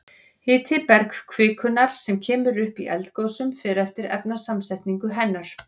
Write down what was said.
Hiti bergkvikunnar sem kemur upp í eldgosum fer eftir efnasamsetningu hennar.